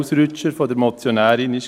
Ausrutscher der Motionärin waren.